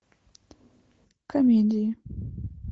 комедии